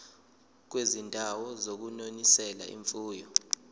kwizindawo zokunonisela imfuyo